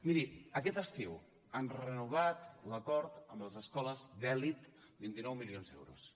miri aquest estiu han renovat l’acord amb les escoles d’elit vint nou milions d’euros